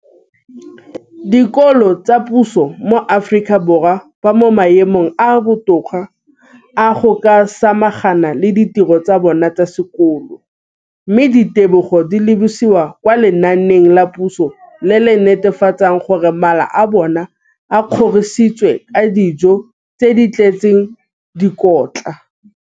Dikolo tsa puso mo Aforika Borwa ba mo maemong a a botoka a go ka samagana le ditiro tsa bona tsa sekolo, mme ditebogo di lebisiwa kwa lenaaneng la puso le le netefatsang gore mala a bona a kgorisitswe ka dijo tse di tletseng dikotla.